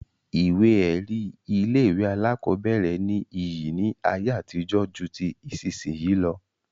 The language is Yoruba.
Ìwé ẹ̀rí ilé-ìwé alákọ̀ọ́bẹ̀rẹ̀ ní iyì ní ayé àtijó ju ti ìsinsìnyí lọ.